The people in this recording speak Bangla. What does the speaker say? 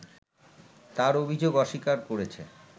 তার অভিযোগ অস্বীকার করেছে